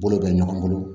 Bolo bɛ ɲɔgɔn bolo